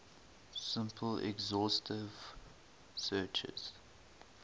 simple exhaustive searches